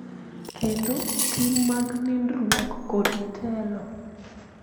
Kendo, tim mag nindruok, kod telo.